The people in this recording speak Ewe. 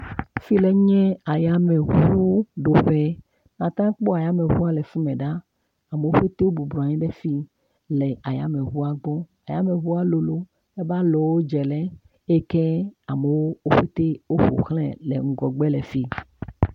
Efi le nye ayameʋuwo ɖo ƒe. Ateŋu akpɔ ayameʋua le ƒome ɖa. wò petee wò bubɔnɔ anyi ɖe fi hele ayameʋua gbɔ. Ayameʋua lolo eƒe alɔwo dze le eye amewo ƒo xlãae le ŋgɔgbe le fi.